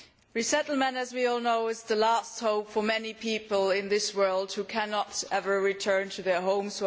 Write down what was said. Resettlement as we all know is the last hope for many people in this world who can never return to their homes